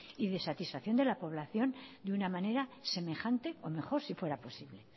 y de satisfacción de la población de una manera semejante o mejor si fuera posible